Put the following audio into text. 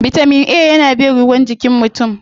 Bitamin A yana bin ruwa jikin mutum.